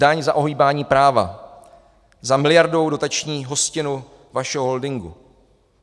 Daň za ohýbání práva, za miliardovou dotační hostinu vašeho holdingu.